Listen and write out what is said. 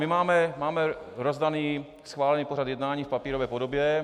My máme rozdaný schválený pořad jednání v papírové podobě.